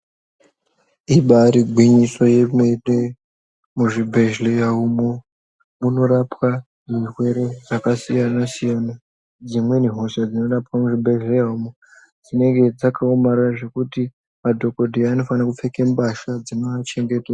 Ibaari gwinyiso remene muzvibhehleya umo munorapwa zvirwere zvakasiyana siyana dzimweni hosha dzinorapwa umu muzvibhehleya umu dzinenge dzakaomarara madhokodheya anofaniys kupfekwa mbasha dzino achengetedza.